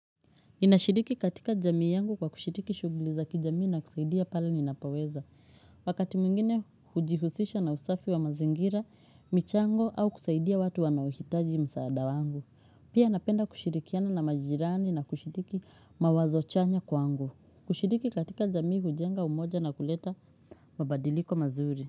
Ninashiriki katika jamii yangu kwa kushiriki shughuli za kijamii na kusaidia pale ninapoweza. Wakati mwingine hujihusisha na usafi wa mazingira, michango au kusaidia watu wanaohitaji msaada wangu. Pia napenda kushirikiana na majirani na kushiriki mawazo chanya kwangu. Kushiriki katika jamii hujenga umoja na kuleta mabadiliko mazuri.